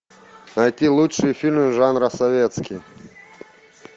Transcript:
найти лучшие фильмы жанра советский